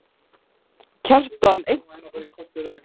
Kjartan: Einhver sérstakur?